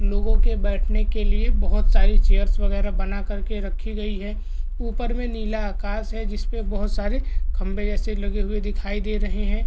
लोगों के बैठने के लिए बहुत सारी चेयर्स वगैरह बना कर के रखी गई है ऊपर में नीला आकाश है जिस पे बहुत सारे खंबे जैसे लगे हुए दिखाई दे रहे हैं।